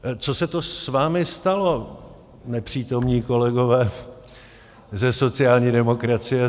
Co se to s vámi stalo, nepřítomní kolegové ze sociální demokracie?